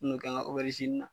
N bi n'o kɛ n ka na.